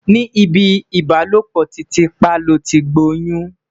ní ibì ìbálòpọ̀ titi pa loti gboyun